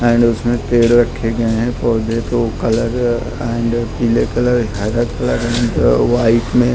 and उसमें पेड़ रखे गए हैं कोई भी ब्लू कलर एंड पीले कलर हरा कलर एंड व्हाइट में--